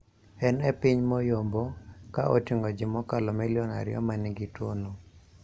En e piny moyombo ka oting'o ji mokalo milion ariyo ma nigi tuwono.